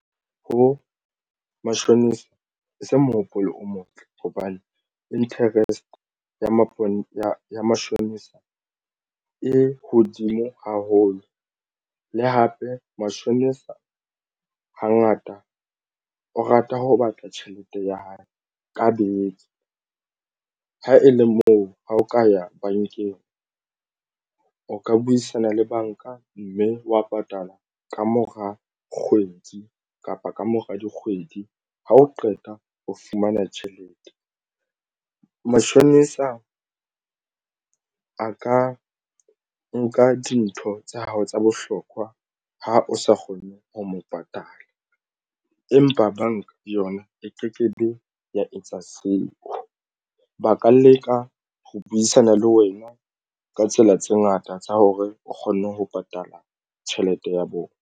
Ho mashonisa ha se mohopolo o motle hobane interest ya mapona mashonisa e hodimo haholo le hape mashonisa hangata e o rata ho batla tjhelete ya hae ka beke. Ha e le moo ha o ka ya bankeng o ka buisana le banka mme wa patala kamora kgwedi kapa kamora dikgwedi. Ha o qeta ho fumana tjhelete. Matjhonisa a ka nka dintho tsa hao tsa bohlokwa ha o sa kgone ho mo patala empa banka yona e ke kebe ya etsa seo. Ba ka leka ho buisana le wena ka tsela tse ngata tsa hore o kgone ho patala tjhelete ya bona.